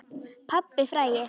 Pabbinn frægi.